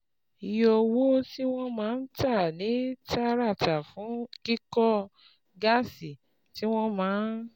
Iye owó tí wọ́n máa ń tà ní tààràtà fún kíkó gásì tí wọ́n máa ń